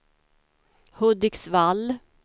Hudiksvall